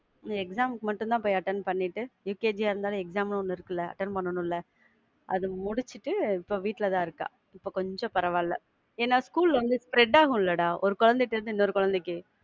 exam க்கு மட்டும் தான் போய் attend பண்ணிட்டு, UKG யா இருந்தாலும் exam ன்னு ஒன்னு இருக்குல, `attend பண்ணணும்ல. அத முடிச்சிட்டு இப்போ வீட்ல தான் இருக்கா, இப்போ கொஞ்சம் பரவாயில்ல. ஏன்னா school வந்து spread ஆகும்ல டா ஒரு குழந்த கிட்ட இருந்து இன்னொரு குழந்தைக்கு.